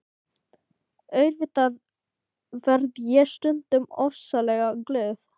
Auðvitað verð ég stundum ofsalega glöð.